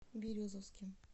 березовским